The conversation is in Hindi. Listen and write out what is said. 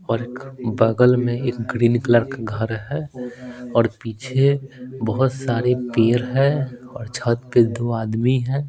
और एक बगल में एक ग्रीन कलर का घर है और पीछे बहुत सारे पेर है और छत पे दो आदमी हैं।